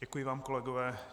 Děkuji vám, kolegové.